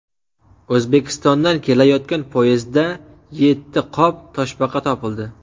O‘zbekistondan kelayotgan poyezdda yetti qop toshbaqa topildi.